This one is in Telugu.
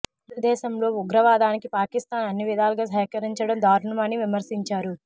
భారతదేశంలో ఉగ్రవాదానికి పాకిస్థాన్ అన్ని విధాలుగా సహకరించడం దారుణం అని విమర్శించారు